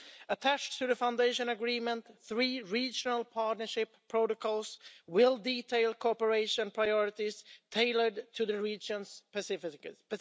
Attached to the foundation agreement, three regional partnership protocols will detail cooperation priorities tailored to the regions' specificities.